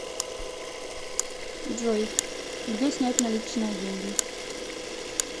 джой где снять наличные деньги